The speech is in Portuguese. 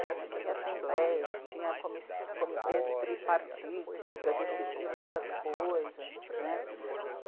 A gente tinha assembleias, tinha comiss... comitês tripartites para decidir muitas coisas, né?